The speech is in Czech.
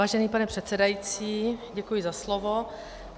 Vážený pane předsedající, děkuji za slovo.